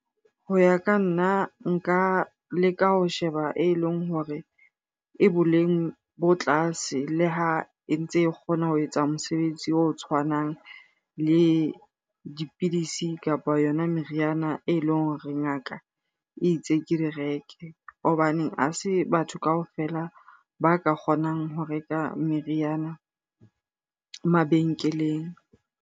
Ho ya ka nna nka leka ho sheba e leng hore e boleng bo tlase le ha e ntse e kgona ho etsa mosebetsi o tshwanang le dipidisi kapa yona meriana e leng hore ngaka e itse ke di reke. Hobane ha se batho kaofela ba ka kgonang ho reka meriana mabenkeleng.